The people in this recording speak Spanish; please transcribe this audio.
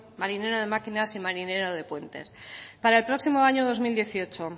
marinero de máquinas y marinero de puentes para el próximo año dos mil dieciocho